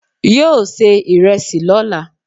Yóò se ìrẹẹsì lóla